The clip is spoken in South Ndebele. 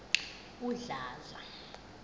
udladla